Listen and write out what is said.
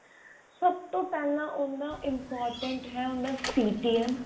ਸਭ ਤੋਂ ਪਹਿਲਾਂ ਉਹਦਾ important ਹੈ ਉਹਦਾ CTM